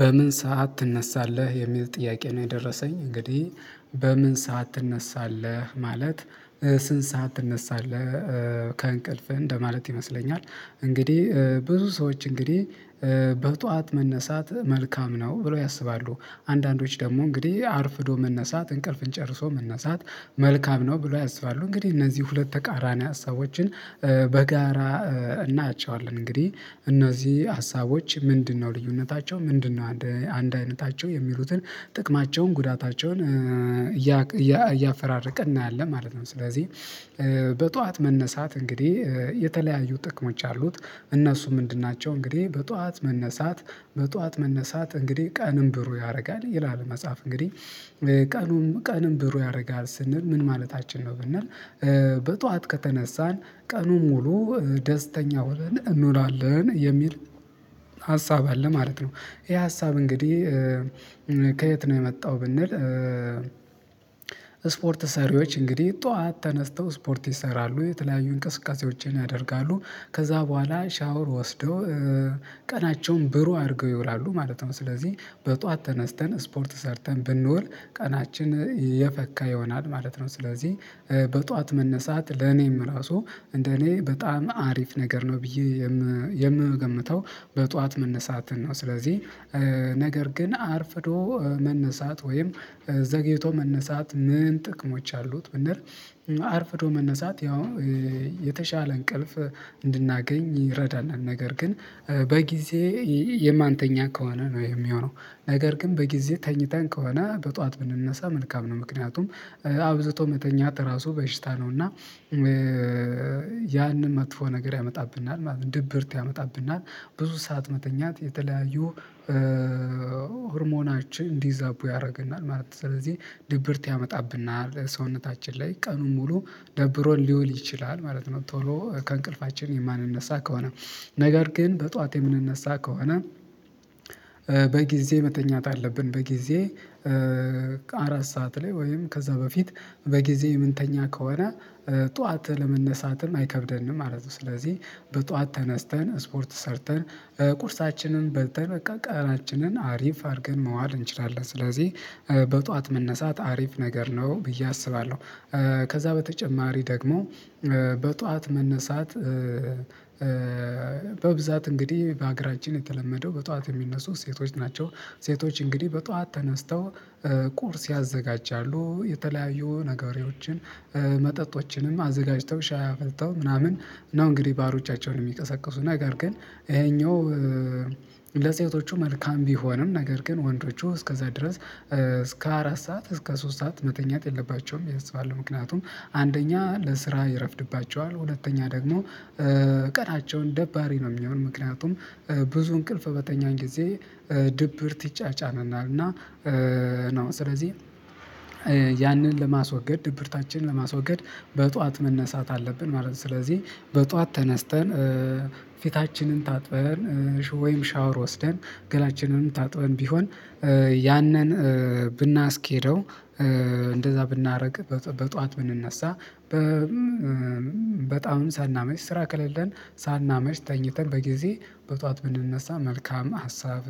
በምን ሰዓት ትነሳለህ የሚል ጥያቄ ነው? የደረሰኝ እንግዲህ በምን ሰዓት ትነሳለህ ማለት ስንት ሰዓት ትነሳለህ ከእንቅልፍህ እንደማለት ይመስለኛል። እንግዲህ ብዙ ሰዎች እንግዲህ በጥዋት መነሳት መልካም ነው ብለው ያስባሉ። አንዳንዶች ደግሞ እንግዲህ አርፍዶ መነሳት እንቅልፍን ጨርሶ መነሳት መልካም ነው ብሎ ያስባሉ። እንግዲህ እነዚህ ሁለት ተቃራኒ ሀሳቦችን በጋራ እናያቸዋለን እንግዲህ እነዚህ ሀሳቦች ምንድነው ልዩነታቸው ምንድነው አንድ አይነታቸው የሚሉትን ጥቅማቸውን ጉዳታቸውን እያፈራረቅን እናያለን ማለት ነው። ስለዚህ በጧዋት መነሳት እንግዲህ የተለያዩ ጥቅሞች አሉት እነሱም ምንድን ናቸው? እንግዲህ በጧዋት መነሳት በጧዋት መነሳት እንግዲህ ቀንን ብሩ ያደርጋል ይላል። መጽሐፍ እንግዲህ ቀኑን ቀንም ብሩ ያደርጋል ስንል ምን ማለታችን ነው ብንል በጧዋት ከተነሳን ቀኑ ሙሉ ደስተኛ ሆነን እንውላለን የሚል ሀሳብ አለ። ማለት ነው ይሄ ሀሳብ እንግዲህ ከየት ነው የመጣው? ብንል ስፖርት ሰሪዎች እንግዲህ ጠዋት ተነስተው ስፖርት ይሰራሉ የተለያዩ እንቅስቃሴዎችን ያደርጋሉ ከዛ በኋላ ሻወር ወስደው ቀናቸውን ብሩህ አድርገው ይውላሉ ማለት ነው። ስለዚህ በጧዋት ተነስተን ስፖርት ሰርተን ብንውል ቀናችን የፈካ ይሆናል ማለት ነው። ስለዚህ በጧዋት መነሳት ለኔም ራሱ እንደኔ በጣም አሪፍ ነገር ነው ብዬ የምገምተው በጧዋት መነሳትን ነው። ስለዚህ ነገር ግን አርፍዶ መነሳት ወይም ዘግይቶ መነሳት ምን ጥቅሞች አሉት? ብንል አርፍዶ መነሳት ያው የተሻለ እንቅልፍ እንድናገኝ ይረዳናል። ነገር ግን በጊዜ የማንተኛ ከሆነ ነው የሚሆነው ነገር ግን በጊዜ ተኝተን ከሆነ በጧዋት ብንነሳ መልካም ነው። ምክንያቱም አብዝቶ መተኛት ራሱ በሽታ ነው። እና ያንን መጥፎ ነገር ያመጣብናል ድብርት ያመጣብናል ብዙ ሰዓት መተኛት የተለያዩ ሆርሞናችን እንዲዛቡ ያደርገናል ማለት ነው። ስለዚህ ድብርት ያመጣብናል ሰውነታችን ላይ ቀኑን ሙሉ ደብሮን ሊውል ይችላል ማለት ነው። ቶሎ ከእንቅልፋችን የማንነሳ ከሆነ ነገር ግን በጧት የምንነሳ ከሆነ በጊዜ መተኛት አለብን። በጊዜ አራት ሰዓት ላይ ወይም ከዛ በፊት በጊዜ የምንተኛ ከሆነ ጠዋት ለመነሳትም አይከብደንም ማለት ነው። ስለዚህ በጧዋት ተነስተን ስፖርት ሰርተን ቁርሳችንን በልተን በቃ ቀናችንን አሪፍ አርገን መዋል እንችላለን። ስለዚህ በጧዋት መነሳት አሪፍ ነገር ነው ብዬ አስባለሁ። ከዛ በተጨማሪ ደግሞ በጧዋት መነሳት በብዛት እንግዲህ በሀገራችን የተለመደው በጧዋት የሚነሱ ሴቶች ናቸው። ሴቶች እንግዲህ በጧዋት ተነስተው ቁርስ ያዘጋጃሉ የተለያዩ ነገሮችን መጠጦችንም አዘጋጅተው ሻይ አፍልተው ምናምን ነው እንግዲህ ባሎቻቸውን የሚቀሰቅሱ ነገር ግን ይሄኛው ለሴቶቹ መልካም ቢሆንም ነገር ግን ወንዶቹ እስከዛ ድረስ እስከ አራት ሰዓት እስከ ሶስት ሰዓት መተኛት የለባቸውም ብዬ አስባለሁ። ምክንያቱም አንደኛ ለስራ ይረፍድባቸዋል ሁለተኛ ደግሞ ቀናቸውን ደባሪ ነው የሚሆነው። ምክንያቱም ብዙ እንቅልፍ በተኛን ጊዜ ድብርት ይጫጫናናል እና ነው ስለዚህ ያንን ለማስወገድ ድብርታችንን ለማስወገድ በጧዋት መነሳት አለብን ማለት ነው። ስለዚህ በጧዋት ተነስተን ፊታችንን ታጥበን ወይም ሻወር ወስደን ገላችንንም ታጥበን ቢሆን ያንን ብናስኬደው እንደዛ ብናረግ በጧዋት ብንነሳ በጣም ሳናመሽ ስራ ከሌለን ሳናመሽ ተኝተን በጊዜ በጧዋት ብንነሳ መልካም ሀሳብ